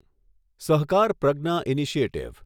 સહકાર પ્રજ્ઞા ઇનિશિયેટિવ